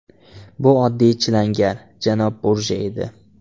Bu oddiy chilangar, janob Burja edi.